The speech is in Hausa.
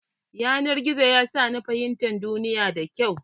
Yanar gizo ya sa ni fahimtar duniya da kyau.